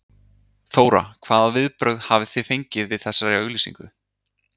Þóra: Hvaða viðbrögð hafið þið fengið við þessari auglýsingu?